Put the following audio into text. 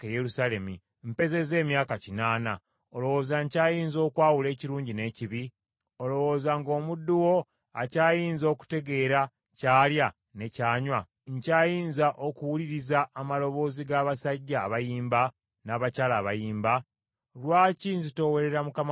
Mpezezza emyaka kinaana, olowooza nkyayinza okwawula ekirungi n’ekibi? Olowooza nga omuddu wo akyayinza okutegeera ky’alya ne ky’anywa? Nkyayinza okuwuliriza amaloboozi g’abasajja abayimba n’abakyala abayimbi? Lwaki nzitoowerera mukama wange kabaka?